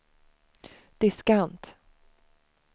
diskant